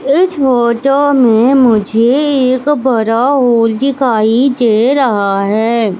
इस फोटो में मुझे एक बड़ा होल दिखाई दे रहा है।